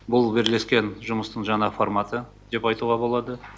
бұл бірлескен жұмыстың жаңа форматы деп айтуға болады